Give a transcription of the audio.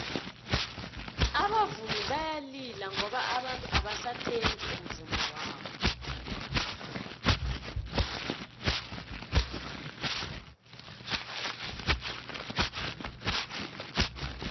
abavumi bayalila ngoba abantu abasathengi umvummo wabo